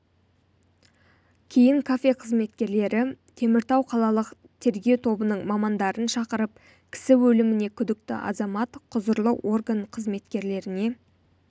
кейін кафе қызметкерлері теміртау қалалық тергеу тобының мамандарын шақырып кісі өліміне күдікті азамат құзырлы орган қызметкерлеріне